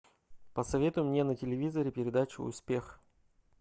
посоветуй мне на телевизоре передачу успех